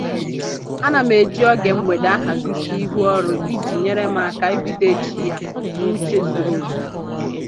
Ana m eji oge mgbede ahazisi ihu ọrụ iji nyere m aka ibido echi ya n'uche zuru oke